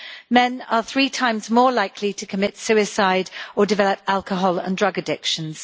Men are three times more likely to commit suicide or develop alcohol and drug addictions.